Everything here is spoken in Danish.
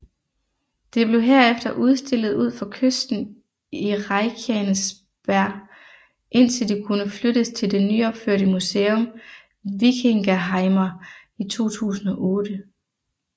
Det blev herefter udstillet ud for kysten i Reykjanesbær indtil det kunne flyttes til det nyopførte museum Víkingaheimar i 2008